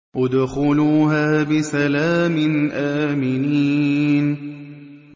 ادْخُلُوهَا بِسَلَامٍ آمِنِينَ